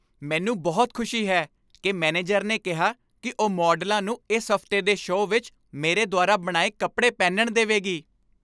ਮੈਨੂੰ ਬਹੁਤ ਖੁਸ਼ੀ ਹੈ ਕਿ ਮੈਨੇਜਰ ਨੇ ਕਿਹਾ ਕਿ ਉਹ ਮਾਡਲਾਂ ਨੂੰ ਇਸ ਹਫ਼ਤੇ ਦੇ ਸ਼ੋਅ ਵਿੱਚ ਮੇਰੇ ਦੁਆਰਾ ਬਣਾਏ ਕੱਪੜੇ ਪਹਿਨਣ ਦੇਵੇਗੀ।